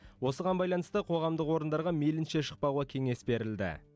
осыған байланысты қоғамдық орындарға мейлінше шықпауға кеңес берілді